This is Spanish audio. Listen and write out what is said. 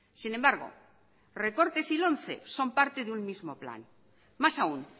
sin embargo recortes y lomce son parte de un mismo plan más aun